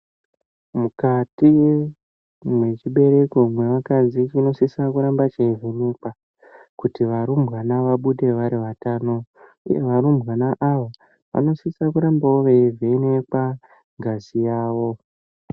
Mukati mwechibereko mwevakadzi chinosisa kuramba cheivhenekwa kuti varumbwana vabude vari vatano uye varumbwana ava vanosisa kurambawo veivhenekwa ngazi yawo.